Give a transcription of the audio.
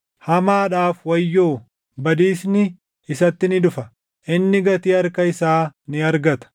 Hamaadhaaf wayyoo! Badiisni isatti ni dhufa! Inni gatii harka isaa ni argata.